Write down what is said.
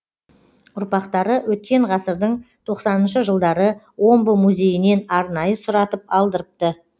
ұрпақтары өткен ғасырдың тоқсаныншы жылдары омбы музейінен арнайы сұратып алдырыпты